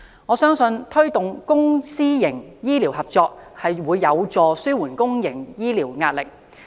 我相信，推動公私營醫療合作將有助紓緩公營醫療的壓力。